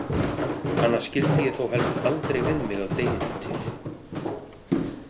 Hana skildi ég þó helst aldrei við mig að deginum til.